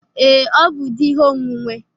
Ee, ọ bụ di ihe onwunwe